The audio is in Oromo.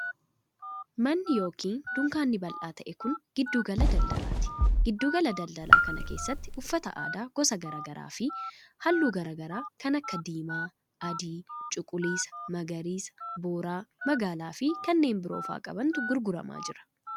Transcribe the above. Manni yokin dukkaanni bal'aa ta'e kun, giddu gala daldalaati. Giddu gala daldalaa kana keessatti uffata aadaa gosa garaa garaa fi haalluu garaa garaa kan akka: diimaa, adii, cuquliisa, magariisa, boora ,magaala fi kanneen biroo faa qabantu gurguramaa jira.